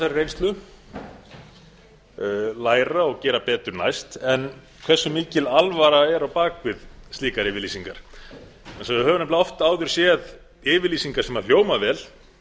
þessari reynslu læra og gera betur næst en hversu mikil alvara er á bak við slíkar yfirlýsingar við höfum nefnilega oft áður séð yfirlýsingar sem hljóma vel